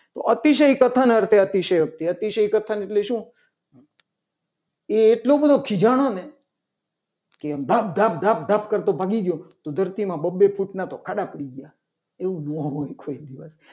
તો અતિશય કથન અર્થી અતિશય અતિશયોક્તિ અતિશય કથાના છે. એટલે શું એ એટલો બધો ખીજાણો ને કે આમ ધબ ધબ કરતો ભાગી ગયો. તો ધરતીમાં બબ્બે ફૂટના તો ખાડા પડી ગયા એવું ના હોય. કોઈ દિવસ